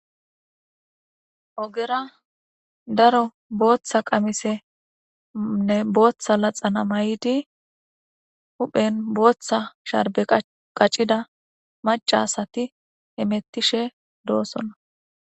ogera daro booththa qamisenne booththa laxana mayidi huphen booththa sharbe qacida maca asati hemettishe doosona